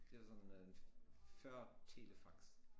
Den var sådan øh før telefax